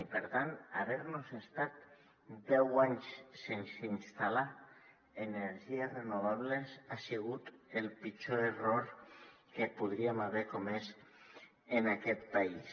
i per tant haver nos estat deu anys sense instal·lar energies renovables ha sigut el pitjor error que podríem haver comès en aquest país